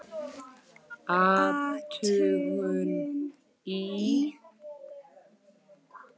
Athugun í